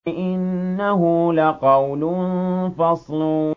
إِنَّهُ لَقَوْلٌ فَصْلٌ